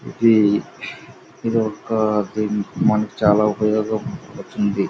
ఇది ఇదొక మనకు చాలా ఉపయోగపడుతుంది.